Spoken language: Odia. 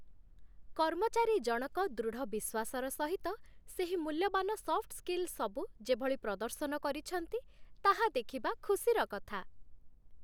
କର୍ମଚାରୀଜଣକ ଦୃଢ଼ ବିଶ୍ୱାସର ସହିତ ସେହି ମୂଲ୍ୟବାନ ସଫ୍ଟ୍ ସ୍କିଲ୍‌ସବୁ ଯେଭଳି ପ୍ରଦର୍ଶନ କରିଛନ୍ତି ତାହା ଦେଖିବା ଖୁସିର କଥା।